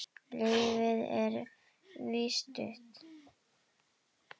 Lífið er víst stutt.